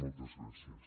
moltes gràcies